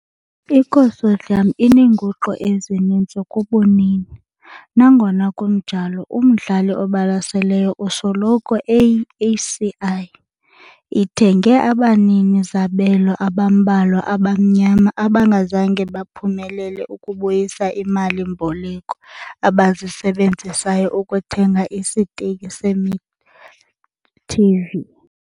I-Consortium ineenguqu ezininzi kubunini, nangona kunjalo umdlali obalaseleyo usoloko eyi-HCI- ithenge abanini-zabelo abambalwa abamnyama abangazange baphumelele ukubuyisela iimali-mboleko abazisebenzisayo ukuthenga isiteki se-Midi TV.